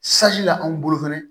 la anw bolo fɛnɛ